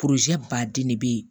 baden de bɛ ye